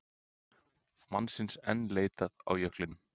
Mannsins enn leitað á jöklinum